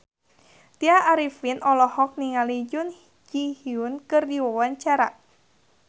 Tya Arifin olohok ningali Jun Ji Hyun keur diwawancara